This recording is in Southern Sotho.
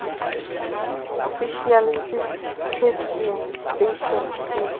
official seed testing station se